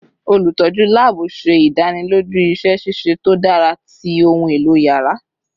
Olutọju laabu ṣe idaniloju iṣẹ ṣiṣe to dara ti ohun elo yàrá